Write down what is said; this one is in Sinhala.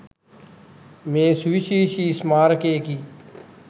මෙය සුවිශේෂී ස්මාරකයකි.